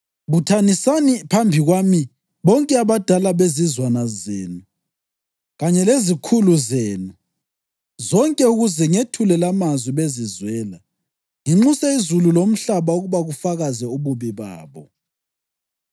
Buthanisani phambi kwami bonke abadala bezizwana zenu kanye lezikhulu zenu zonke ukuze ngethule lamazwi bezizwela nginxuse izulu lomhlaba ukuba kufakaze ububi babo.